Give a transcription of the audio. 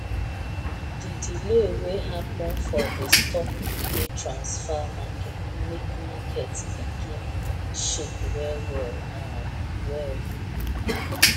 the delay wey happen for the stock money transfer make market begin shake well well um well um